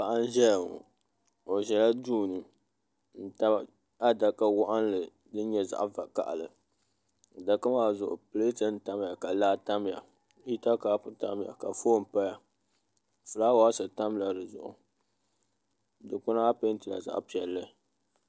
Paɣa n ʒɛya ŋo o ʒɛla duu ni n tabi adaka waɣanli din nyɛ zaɣ vakaɣali adaka maa zuɣu pileet n tamya ka laa tamya hita kaap tamya ka foon paya fulaawaasi tamla dizuɣu dikpuna maa peentila zaɣ piɛlli